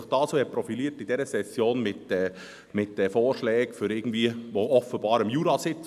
Diese haben sich in dieser Session mit Vorschlägen profiliert, um den Kanton zu dynamisieren.